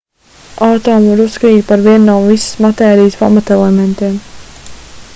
atomu var uzskatīt par vienu no visas matērijas pamatelementiem